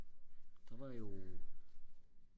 der var jo